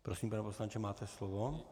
Prosím, pane poslanče, máte slovo.